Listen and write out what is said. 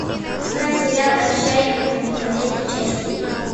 искать сериал отчаянные домохозяйки часть три